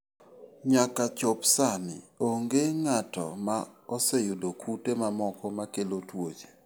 Nyaka chop sani, onge ng'ato ma oseyudo kute mamoko makelo tuoche.